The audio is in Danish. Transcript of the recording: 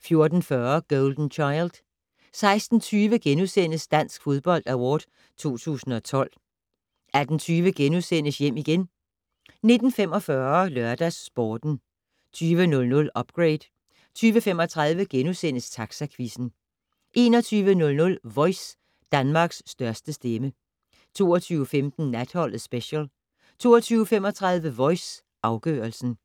14:40: Golden Child 16:20: Dansk Fodbold Award 2012 * 18:20: Hjem igen * 19:45: LørdagsSporten 20:00: Upgrade 20:35: Taxaquizzen * 21:00: Voice - Danmarks største stemme 22:15: Natholdet Special 22:35: Voice - afgørelsen